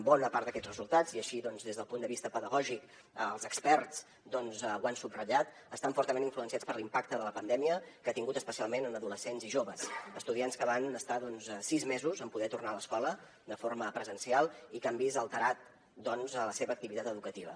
bona part d’aquests resultats i així doncs des del punt de vista pedagògic els experts ho han subratllat estan fortament influenciats per l’impacte que la pandèmia ha tingut especialment en adolescents i joves estudiants que van estar sis mesos en poder tornar a l’escola de forma presencial i que han vist alterada la seva activitat educativa